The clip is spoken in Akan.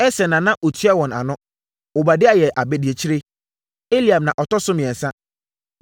Eser na na ɔtua wɔn ano. Obadia yɛ abadiakyire. Eliab na ɔtɔ so mmiɛnsa.